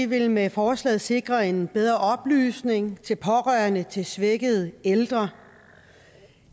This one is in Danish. vil med forslaget sikre en bedre oplysning til pårørende til svækkede ældre